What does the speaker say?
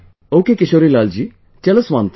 Ok Kishorilal ji tell us one thing